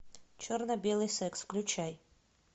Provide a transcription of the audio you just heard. черно белый секс включай